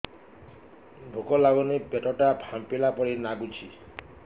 ଭୁକ ଲାଗୁନି ପେଟ ଟା ଫାମ୍ପିଲା ପରି ନାଗୁଚି